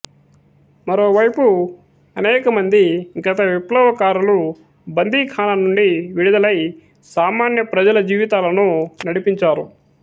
మరోవైపు అనేకమంది గత విప్లవకారులు బందిఖానా నుండి విడుదలై సామాన్య ప్రజల జీవితాలను నడిపించారు